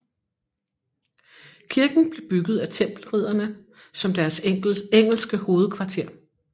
Kirken blev bygget af Tempelridderne som deres engelske hovedkvarter